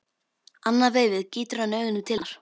Annað veifið gýtur hann augunum til hennar.